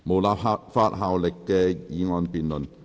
無立法效力的議案辯論。